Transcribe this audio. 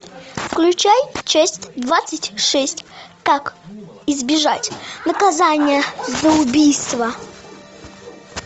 включай часть двадцать шесть как избежать наказание за убийство